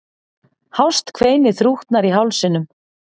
Hást kveinið þrútnar í hálsinum.